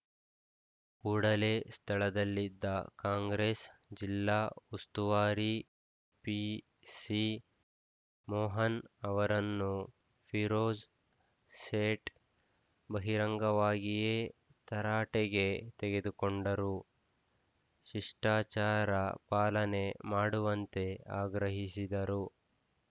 ಕೂಡಲೇ ಸ್ಥಳದಲ್ಲಿದ್ದ ಕಾಂಗ್ರೆಸ್‌ ಜಿಲ್ಲಾ ಉಸ್ತುವಾರಿ ಪಿಸಿಮೋಹನ್‌ ಅವರನ್ನು ಫಿರೋಜ್‌ ಸೇಠ್‌ ಬಹಿರಂಗವಾಗಿಯೇ ತರಾಟೆಗೆ ತೆಗೆದುಕೊಂಡರು ಶಿಷ್ಟಾಚಾರ ಪಾಲನೆ ಮಾಡುವಂತೆ ಆಗ್ರಹಿಸಿದರು